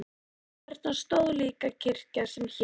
Þarna stóð líka kirkja sem hét